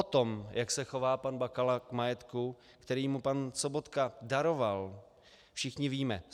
O tom, jak se chová pan Bakala k majetku, který mu pan Sobotka daroval, všichni víme.